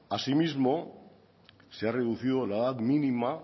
asimismo se ha reducido la edad mínima